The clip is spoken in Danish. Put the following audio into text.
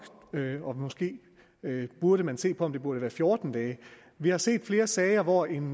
måske burde man se på om det burde være fjorten dage vi har set flere sager hvor en